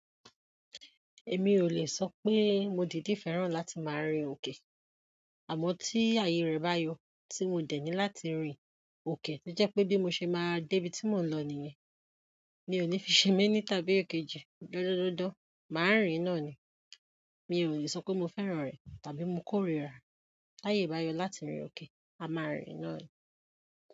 Èmi ò lè sọ pé mo dìdi fẹ́ràn láti máa rin òkè, àmọ́ tí ààyè rẹ bá yọ tí mo dẹ̀ ní láti rin òkè, to jẹ́ pé bí mo ṣe máa dé ibi tí mò ń lọ nìyẹn, mi ò ní fi ṣe mení tàbí èkejì dandan màá rìn náà ni. Mi ò lè sọ pé mo fẹ́ràn rẹ̀ tàbí mo kò ríra. Tàyè bá yọ láti rìn òkè, a máa rìn náà ni.